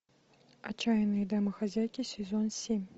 отчаянные домохозяйки сезон семь